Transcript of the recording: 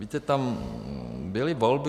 Víte, tam byly volby.